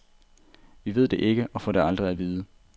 Vi ved det ikke og får det aldrig at vide.